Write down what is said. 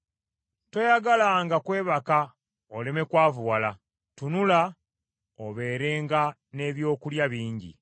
Toyagalanga kwebaka oleme kwavuwala, tunula, obeerenga n’ebyokulya bingi.